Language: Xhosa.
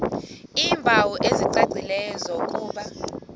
iimpawu ezicacileyo zokuba